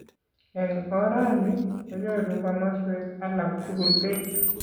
Eng oranii, konyoru komaswek alak tukul pek